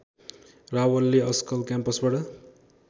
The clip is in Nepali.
रावलले अस्कल क्याम्पसबाट